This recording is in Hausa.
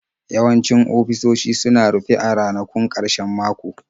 Yawancin ofisoshi suna rufe a ranakun ƙarshen mako.